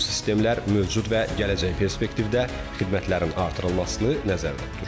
Bu sistemlər mövcud və gələcək perspektivdə xidmətlərin artırılmasını nəzərdə tutur.